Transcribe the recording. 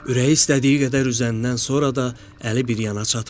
Ürəyi istədiyi qədər üzəndən sonra da əli bir yana çatmadı.